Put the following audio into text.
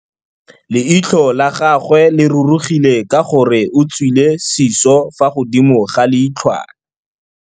Leitlhô la gagwe le rurugile ka gore o tswile sisô fa godimo ga leitlhwana.